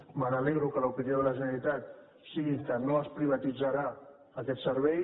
m’alegro que l’opinió de la generalitat sigui que no es privatitzarà aquest servei